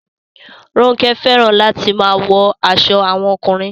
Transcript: Ronke fẹràn latin maa wọ aṣọ awọn ọkunrin